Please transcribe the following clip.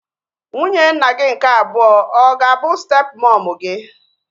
Nwunye nna gị nke abụọ ọ ga-abụ step mọmu gị?